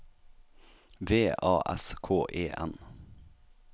V A S K E N